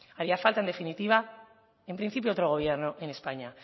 haría falta en definitiva en principio otro gobierno en españa